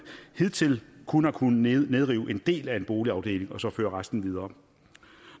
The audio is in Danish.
hidtil kun har kunnet nedrive en del af en boligafdeling og så føre resten videre